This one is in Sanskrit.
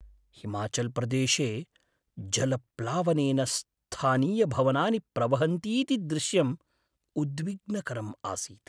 हिमाचल्प्रदेशे जलप्लावनेन स्थानीयभवनानि प्रवहन्तीति दृश्यम् उद्विग्नकरम् आसीत्।